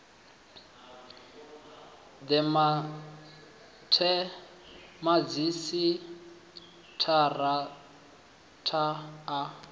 the madzhisi tara ta a